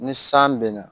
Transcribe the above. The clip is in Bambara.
Ni san bɛ na